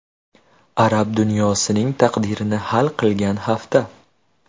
Arab dunyosining taqdirini hal qilgan hafta.